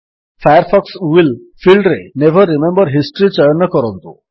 Firefox will ଫିଲ୍ଡରେ never remember history ଚୟନ କରନ୍ତୁ